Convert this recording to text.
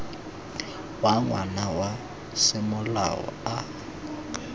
wa ngwana wa semolao a